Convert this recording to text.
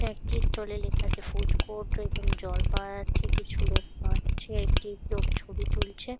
একটি স্টল -এ লেখা আছে ফুড কোর্ট এবং জল পাওয়া যাচ্ছে। কিছু লোক হাঁটছে। একটি লোক ছবি তুলছে।